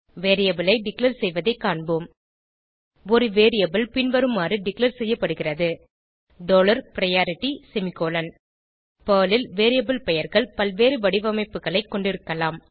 variable ஐ declare செய்வதைக் காண்போம் ஒரு வேரியபிள் பின்வருமாறு டிக்ளேர் செய்யப்படுகிறது டாலர் பிரையாரிட்டி செமிகோலன் பெர்ல் ல் வேரியபிள் பெயர்கள் பல்வேறு வடிவமைப்புகளை கொண்டிருக்கலாம்